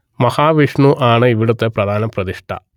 മഹാവിഷ്ണു ആണ് ഇവിടത്തെ പ്രധാന പ്രതിഷ്ഠ